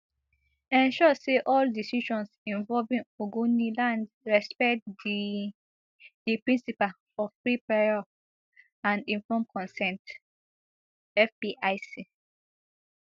ensure say all decisions involving ogoniland respect di di principle of free prior and informed consent fpic